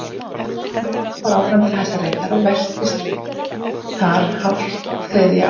Málið fór áfram til Hæstaréttar og velktist þar hálft þriðja ár.